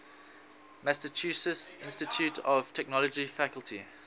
massachusetts institute of technology faculty